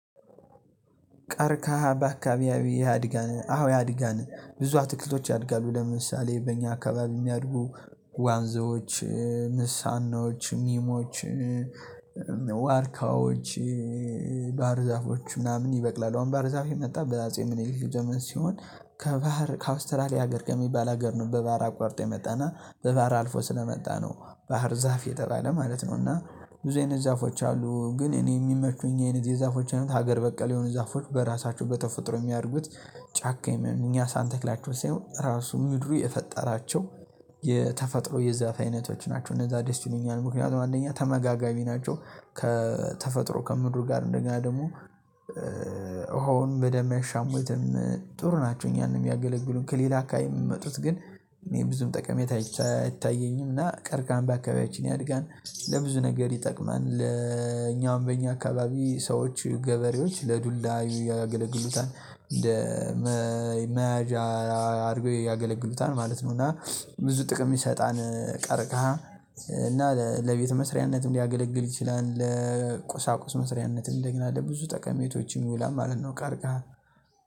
ቀርካሃ በአካባቢያዊ ያድጋል? አዎ ያድጋል ብዙ አትክልቶች ያድጋሉ ለምሳሌ በእኛ አካባቢ የሚያድጉ ዋንዛዎች ንስሃኖች ሚሞች ዋርካዎች ባህር ዛፎች ምናምን ይበቅላሉ አሁን ባህር ዛፍ የመጣ በአጼ ምኒልክ ዘመን ሲሆን ከባህር ከአውስትራሊያ ሀገር ከሚባል ሀገር ነው በባህር አቋርጦ የመጣና በባህር አልፎ ስለመጣ ነው ባህር ዛፍ የተጣለ ማለት ነው እና ብዙ አይነት ዛፎች አሉ ግን እኔ የሚመቹኝ አይነት የዛፎች አይነት ሀገር በቀል የሆኑ ዛፎች በራሳቸው በተፈጥሮ የሚያደርጉት ጫካ የሚሆን እኛ ሳንተክላቸው ሳይሆን ራሱ ምድሩ የፈጠራቸው የተፈጥሮ የዛፍ አይነቶች ናቸው እነዛ ደስ ይሉኛል ምክንያቱም አንደኛ ተመጋጋሚ ናቸው ከተፈጥሮ ከምድር ጋር እንደገና ደግሞ ውሃውን በደም ያሻሙትን ጥሩ ናቸው እኛንም የሚያገለግሉን ከሌላ አካባቢ የምመጡት ግን እኔ ብዙም ጠቀሜት አይታየኝም እና ቀርቃም በአካባቢያችን ያድጋል ለብዙ ነገር ይጠቅማል ለኛውም በእኛ አካባቢ ሰዎች ገበሬዎች ለዱላዩ ያገለግሉታል እንደ መያዣ አድርጎ ያገለግሉታል ማለት ነው እና ብዙ ጥቅም ይሰጣል ቀርቅሃ እና ለቤት መስሪያነት እንዲያገለግል ይችላል ለቁሳቁስ መስሪያነትን ደግሞ አለ ብዙ ጠቀሜቶችም ይውላ ማለት ነው ቀርቀሃል